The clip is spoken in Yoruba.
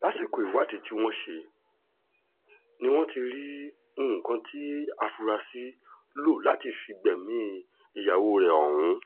lásìkò ìwádìí tí wọ́n ṣe ni wọ́n ti rí nǹkan tí afurasí lò láti fi gbẹ̀mí ìyàwó rẹ̀ ọ̀hún